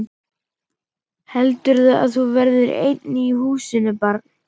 Heldurðu að þú verðir ein í húsinu barn!